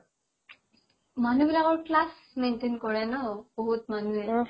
মানুহ বিলাকৰ class maintain কৰে ন বহুত মানুহে